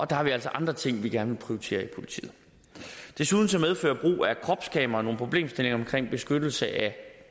der har vi altså andre ting vi gerne politiet desuden medfører brug af kropskameraer nogle problemstillinger omkring beskyttelse af